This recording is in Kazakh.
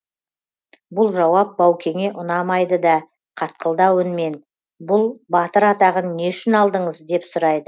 бұл жауап баукеңе ұнамайды да қатқылдау үнмен бұл батыр атағын не үшін алдыңыз деп сұрайды